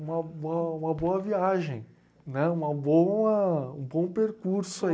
uma uma uma boa viagem, né? Uma boa, um bom percurso